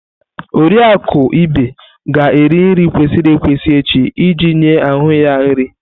Oriakụ Ibe ga-eri nri kwesịrị ekwesị echi iji nye ahụ ya nri.